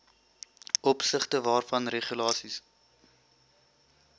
opsigte waarvan regulasies